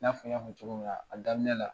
N'a fɔ y'a fɔ cogo min na a daminɛ la